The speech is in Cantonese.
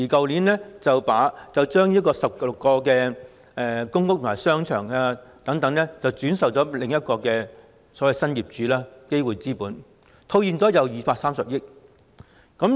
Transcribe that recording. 領展去年把16個公屋及商場轉售予新業主基匯資本，套現230億元。